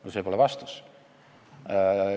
No see pole vastus.